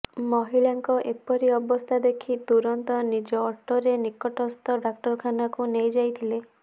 ମହିଳାଙ୍କ ଏପରି ଅବସ୍ଥା ଦେଖି ତୁରନ୍ତ ନିଜ ଅଟୋରେ ନିକଟସ୍ଥ ଡାକ୍ତରଖାନାକୁ ନେଇଯାଇଥିଲେ